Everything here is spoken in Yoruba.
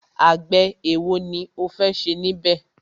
Àgbẹ̀ ẹ̀wo ni o fẹ́ ṣe níbẹ̀?